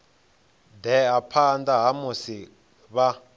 ḓea phanḓa ha musi vha